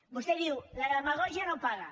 vostè diu la demagògia no paga